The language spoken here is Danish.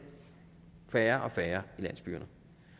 færre og færre i landsbyerne